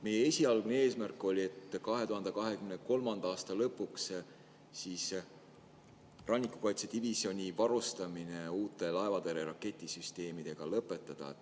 Meie esialgne eesmärk oli 2023. aasta lõpuks rannikukaitsedivisjoni varustamine uute laevatõrje raketisüsteemidega lõpetada.